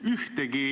Ühtegi ...